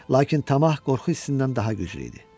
Lakin tamah qorxu hissindən daha güclü idi.